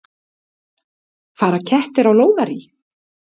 Fara kettir á lóðarí?